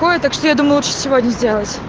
так что я думаю что сегодня